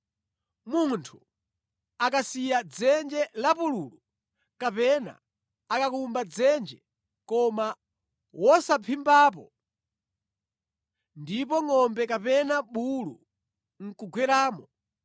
“Munthu akasiya dzenje lapululu kapena akakumba dzenje koma wosaphimbapo, ndipo ngʼombe kapena bulu nʼkugweramo,